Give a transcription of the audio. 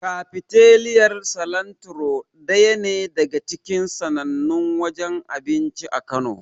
Kafiteriyar Silantiro daya ne daga cikin sannannun wajen abinci a Kano.